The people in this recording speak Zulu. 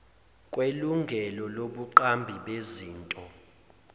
kwelungelo lobuqambi bezinto